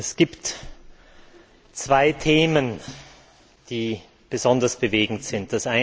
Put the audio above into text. Es gibt zwei Themen, die besonders bewegend sind.